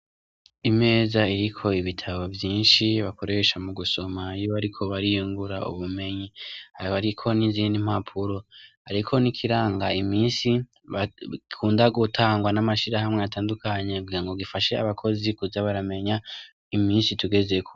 Imeza iriko ibitabo vyinshi bakoresha mugusoma iyo bariko bariyungura ubumenyi hariko n' izindi mpapuro hariko n' ikiranga imisi bakunda gutangwa n' amashirahamwe atandukanye kugirango gifashe abokozi kuza baramenya imisi tugezeko.